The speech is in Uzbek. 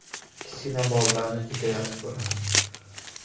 Kichkina bolalarni juda yaxshi ko‘raman.